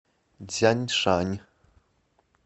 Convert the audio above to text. цзяншань